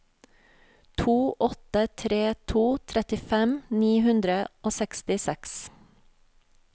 to åtte tre to trettifem ni hundre og sekstiseks